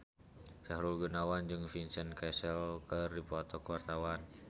Sahrul Gunawan jeung Vincent Cassel keur dipoto ku wartawan